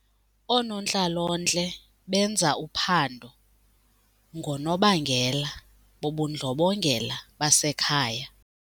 Oonontlalontle benza uphando ngoonobangela bobundlobongela basekhaya.